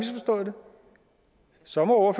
for så må